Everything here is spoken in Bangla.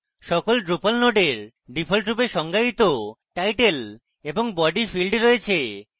সকল drupal নোডের ডিফল্টরূপে সংজ্ঞায়িত title এবং body fields রয়েছে